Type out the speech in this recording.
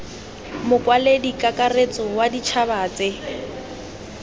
mokwaledi kakaretso wa ditšhaba tse